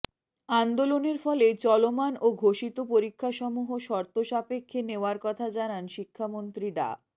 আন্দোলনের ফলে চলমান ও ঘোষিত পরীক্ষাসমূহ শর্তসাপেক্ষে নেওয়ার কথা জানান শিক্ষামন্ত্রী ডা